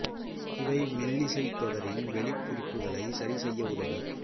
இவை மெல்லிசைத் தொடரின் வெளிக் குறிப்புகளை சரி செய்ய உதவும்